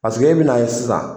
e bɛn'a ye sisan